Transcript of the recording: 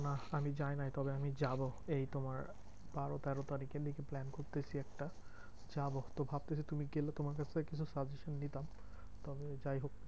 না আমি যাই নাই তবে আমি যাবো এই তোবার বারো তেরো তারিখ plan করতেছি একটা। যাবো তো ভাবতেছি তুমি গেলে তোমার কাছ থেকে কিছু suggestion নিতাম। তবে যাইহোক